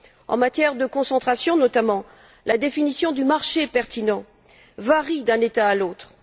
En matière de concentration, notamment, la définition du marché pertinent varie d'un État à l'autre.